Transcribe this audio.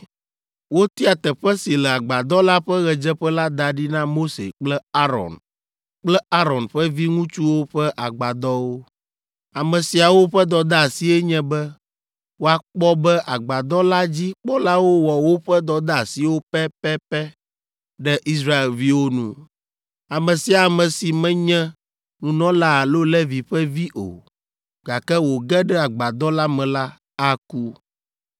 Wotia teƒe si le agbadɔ la ƒe ɣedzeƒe la da ɖi na Mose kple Aron kple Aron ƒe viŋutsuwo ƒe agbadɔwo. Ame siawo ƒe dɔdeasie nye be woakpɔ be agbadɔ la dzi kpɔlawo wɔ woƒe dɔdeasiwo pɛpɛpɛ ɖe Israelviwo nu. Ame sia ame si menye nunɔla alo Levi ƒe vi o, gake wòge ɖe agbadɔ la me la, aku.